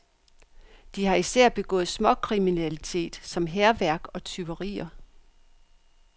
De har især begået småkriminalitet som hærværk og tyverier.